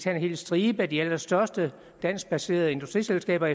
en hel stribe af de allerstørste danskbaserede industriselskaber